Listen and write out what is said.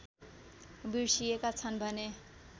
बिर्सिएका छन् भने